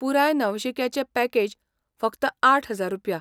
पुराय नवशिक्याचें पॅकेज फकत आठ हजार रुपया.